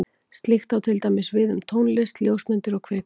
Slíkt á til dæmis við um tónlist, ljósmyndir og kvikmyndir.